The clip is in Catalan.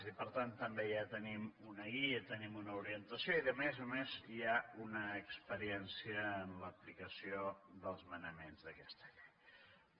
i per tant també ja tenim un guia tenim una orientació i a més a més hi ha una experiència en l’aplicació dels manaments d’aquesta llei